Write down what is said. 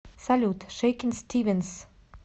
салют шейкин стивенс